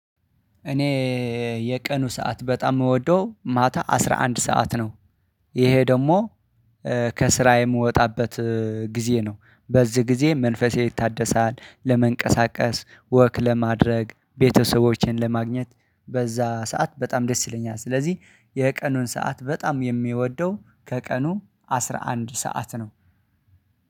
እኔ የቀኑ ሰዓት በጣም የምወደው ማታ አስራ አንድ ሰዓት ነው። ይሄ ደግሞ ከስራየ የምወጣበት ጊዜ ነው። በዚህ ጊዜ መንፈሴ ይታደሳል ለመንቀሳቀስ ወክ ለማድረግ ቤተሰቦችን ለማግኘት በዛ ሰዓት በጣም ደስ ይለኛል። ስለዚህ የቀኑን ሰዓት በጣም የምወደው ከቀኑ አስራ አንድ ሰዓት ነው